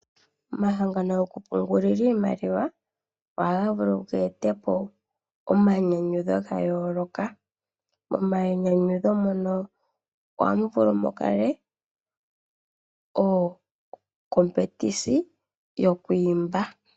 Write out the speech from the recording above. Omahangano gokupungulila iimaliwa ohaga vulu ge etepo omainyanyudho ga yooloka. Omainyanyudho nono ohamu vulu mu kale omathigathano gokuimba.